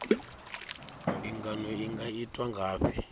mbingano i nga itwa ngafhi